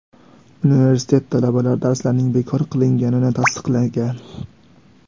Universitet talabalari darslarning bekor qilinganini tasdiqlagan.